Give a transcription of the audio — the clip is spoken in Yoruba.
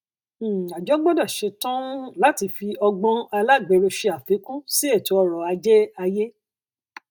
um àjọ gbọdọ ṣetan um láti fi ọgbọn alágberó ṣe àfikún sí ètò ọrọ ajé ayé